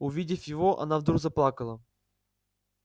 увидев его она вдруг заплакала